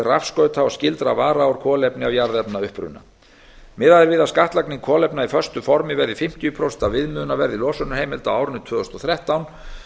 rafskauta og skyldra vara úr kolefni af jarðefnauppruna miðað er við að skattlagning kolefna í föstu formi verði fimmtíu prósent af viðmiðunarverði losunarheimilda á árinu tvö þúsund og þrettán